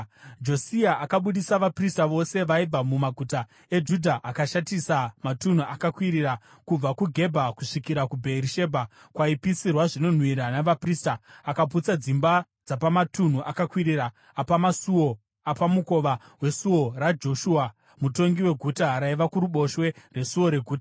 Josia akabudisa vaprista vose vaibva mumaguta eJudha akashatisa matunhu akakwirira, kubva kuGebha kusvikira kuBheerishebha, kwaipisirwa zvinonhuhwira navaprista. Akaputsa dzimba dzapamatunhu akakwirira apamasuo apamukova weSuo raJoshua, mutongi weguta, raiva kuruboshwe rwesuo reguta.